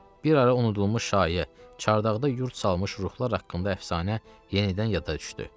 Bir ara unudulmuş şayə, çardaqda yurd salmış ruhlar haqqında əfsanə yenidən yada düşdü.